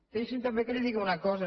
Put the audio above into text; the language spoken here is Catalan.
deixi’m també que li digui una cosa